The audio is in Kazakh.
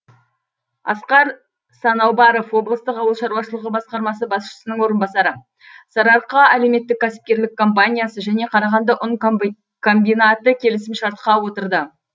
асқар санаубаров облыстық ауыл шаруашылығы басқармасы басшысының орынбасары сарыарқа әлеуметтік кәсіпкерлік компаниясы және қарағанды ұн комбинаты келісімшартқа отырды